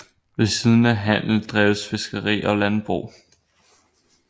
Ved siden af handel dreves fiskeri og landbrug